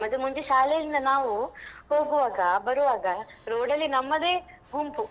ಮತ್ತೆ ಮುಂಚೆ ಶಾಲೆಯಿಂದ ನಾವು ಹೋಗುವಾಗ ಬರುವಾಗ road ಅಲ್ಲಿ ನಮ್ಮದೇ ಗುಂಪು.